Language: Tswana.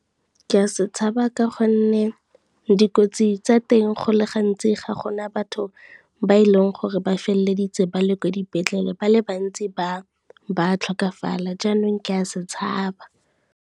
Ke a se tshaba ka gonne, dikotsi tsa teng go le gantsi ga gona batho ba e leng gore ba feleleditse ba le kwa dipetlele ba le bantsi ba tlhokafala jaanong ke a se tshaba.